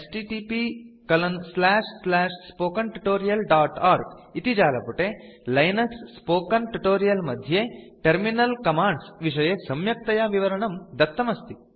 httpspoken tutorialorg इति जालपुटे Linux spoken tutorial मध्ये टर्मिनल कमाण्ड्स विषये सम्यक्तया विवरणम् दत्तम् अस्ति